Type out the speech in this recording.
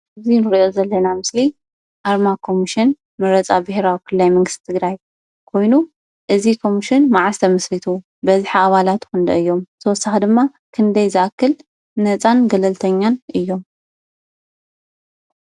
እዚ ንሪኦ ዘለና ምስሊ ኣርማ ኮሙሽን መረፃ ብሔራዊ ክልላዊ መንግስቲ ትግራይ ኮይኑ እዚ ኮሙሽን መዓዝ ተመስሪቱ? በዚሒ አባላቱ ክንደይ እዩም? ብተወሳኪ ድማ ክንደይ ዝኣክል ነፃን ገለልተኛን እዮም?